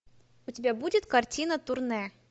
у тебя будет картина турне